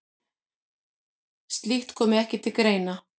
Slíkt komi ekki til greina.